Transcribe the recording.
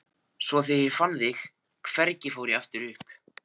Svo þegar ég fann þig hvergi fór ég aftur upp.